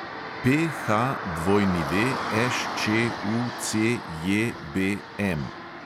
PHWŠČUCJBM